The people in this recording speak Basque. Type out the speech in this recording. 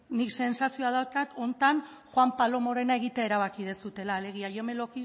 nik sentsazioak daukat honetan juan palomorena egitea erabaki duzuela alegia yo me lo